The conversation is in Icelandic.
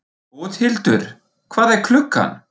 Bóthildur, hvað er klukkan?